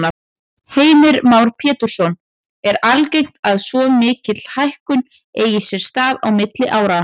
Heimir Már Pétursson: Er algengt að svo mikil hækkun eigi sér stað á milli áranna?